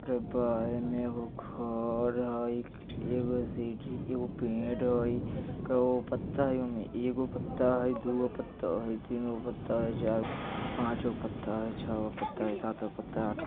अरे बा एने एगो घर हई | एगो सीढ़ी एगो पेड़ हई | कैगो पत्ता हई उमे एगो पत्ता हई दूगो पत्ता हई तीनगो पत्ता हई चारगो पत्ता हई पाँचगो पत्ता हई छौगो पत्ता हई सातगो पत्ता हई आठगो --